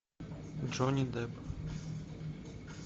джонни депп